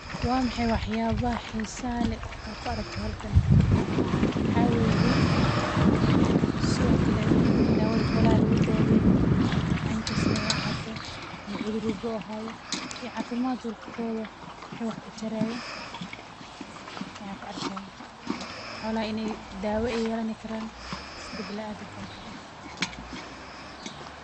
Wa maxay waxyaabaha xiisaha leh ee aad ku araagto halkan, waxa weye, sidhokale dawada xoolaha lagudaweyo, cenkasta ay ahaato, cudur walba ay ahaato, iyo cafimadkodha wucu wax utarayo ayan kuarkixay.